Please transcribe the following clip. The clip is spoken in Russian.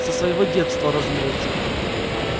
со своего детства разумеется